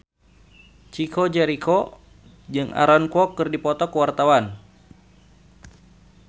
Chico Jericho jeung Aaron Kwok keur dipoto ku wartawan